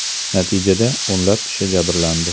Natijada o‘nlab kishi jabrlandi.